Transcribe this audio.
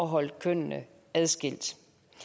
holde kønnene adskilt